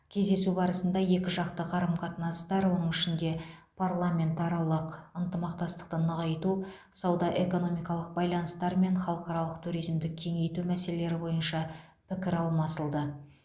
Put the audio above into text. кездесу барысында екіжақты қарым қатынастар оның ішінде парламентаралық ынтымақтастықты нығайту сауда экономикалық байланыстар мен халықаралық туризмді кеңейту мәселелері бойынша пікір алмасылды